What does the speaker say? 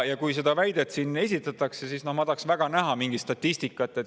Kui seda väidet siin esitatakse, siis ma tahaksin väga näha mingit statistikat.